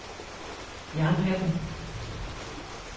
Jernhatten